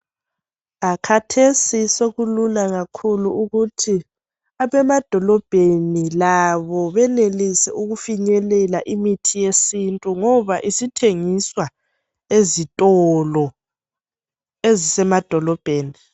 Kathesi sokulula kakhulu ukuthi abemadolobheni labo benelise ukufinyelela imithi yesintu ngoba isithengiswa ezitolo ezise madolobheni.